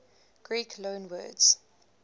greek loanwords